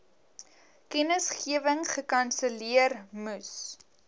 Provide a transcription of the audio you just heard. kennisgewing gekanselleer moes